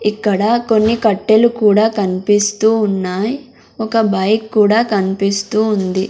ఇక్కడ కొన్ని కట్టెలు కూడా కన్పిస్తూ ఉన్నాయ్ ఒక బైక్ కూడా కన్పిస్తూ ఉంది.